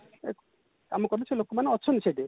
କାମ କରନ୍ତି ସେ ଲୋକମାନେ ଅଛନ୍ତି ସେଠି